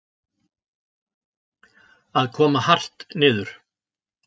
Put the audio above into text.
Að koma hart niður